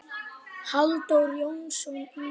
Halldór Jónsson yngri.